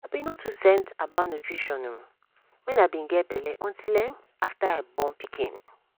i be no too send about nutrition um when i be get belle until um after i born pikin.